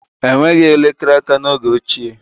Enweghị elekere aka n'oge ochie